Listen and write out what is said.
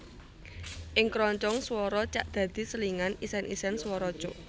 Ing kroncong swara cak dadi selingan isèn isèn swara cuk